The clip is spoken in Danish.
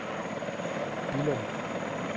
Billum